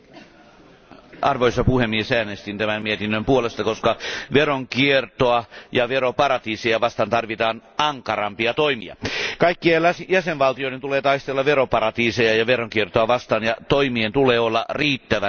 Arvoisa puhemies, äänestin tämän mietinnön puolesta, koska veronkiertoa ja veroparatiiseja vastaan tarvitaan ankarampia toimia. Kaikkien jäsenvaltioiden tulee taistella veroparatiiseja ja veronkiertoa vastaan ja toimien tulee olla riittävän tehokkaita.